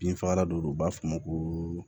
Binfagalan dɔ don u b'a fɔ o ma ko